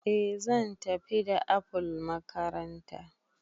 Eh zan tafi da apple makaranta